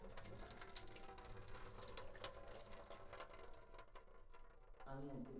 আমি আজকে